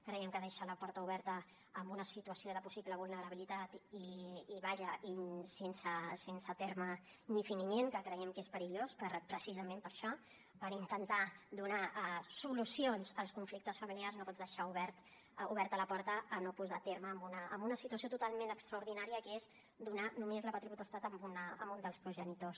creiem que deixa la porta oberta a una situació de possible vulnerabilitat i vaja sense terme ni finiment que creiem que és perillós precisament per això per intentar donar solucions als conflictes familiars no pots deixar oberta la porta a no posar terme a una situació totalment extraordinària que és donar només la pàtria potestat a un dels progenitors